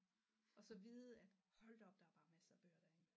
Og så vide at hold da op der er bare masser af bøger deri